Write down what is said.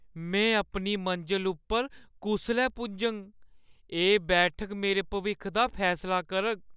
में अपनी मंजल उप्पर कुसलै पुज्जङ? एह् बैठक मेरे भविक्ख दा फैसला करग।